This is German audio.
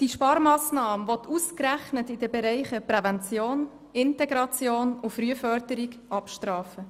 Diese Sparmassnahme will ausgerechnet in den Bereichen Prävention, Integration und Frühförderung abstrafen.